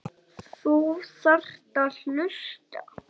Þú þarft að hlusta.